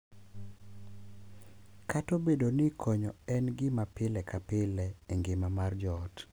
Kata obedo ni konyo en gima pile ka pile e ngima mar joot,